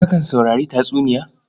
Kakan saurari tatsuniya?